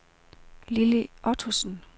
Lilly Ottosen